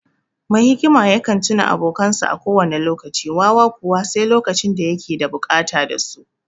Mai hikima yakan tuna abokansa a kowane lokaci; wawa kuwa, sai lokacin da ya yake da bukata su.